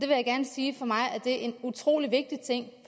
vil gerne sige at for mig er det en utrolig vigtig ting